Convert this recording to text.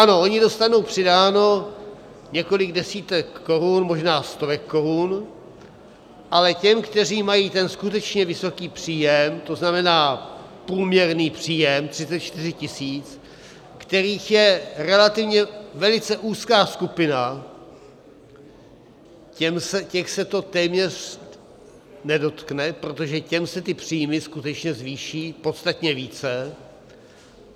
Ano, oni dostanou přidáno několik desítek korun, možná stovek korun, ale těm, kteří mají ten skutečně vysoký příjem, to znamená průměrný příjem 34 tisíc, kterých je relativně velice úzká skupina, těch se to téměř nedotkne, protože těm se ty příjmy skutečně zvýší podstatně více.